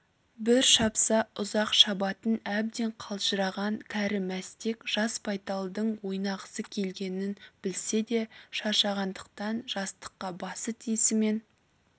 бір шапса ұзақ шабатын әбден қалжыраған кәрі мәстек жас байталдың ойнағысы келгенін білсе де шаршағандықтан жастыққа басы тиісімен